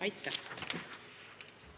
Aitäh!